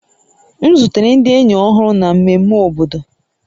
M zutere ndị enyi ọhụrụ na mmemme obodo